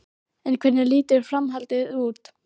En hvernig lítur framhaldið út?